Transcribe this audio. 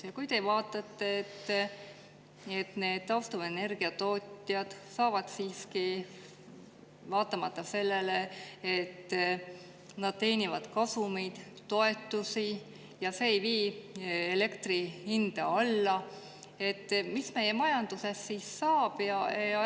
Ja kui te vaatate, et taastuvenergia tootjad saavad siiski toetusi, vaatamata sellele, et nad teenivad kasumeid, ja see ei vii elektri hinda alla, mis meie majandusest siis saab?